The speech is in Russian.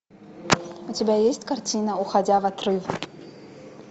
у тебя есть картина уходя в отрыв